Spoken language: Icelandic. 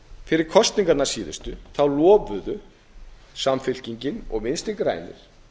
fyrir kosningarnar síðustu lofuðu samfylkingin og vinstri grænir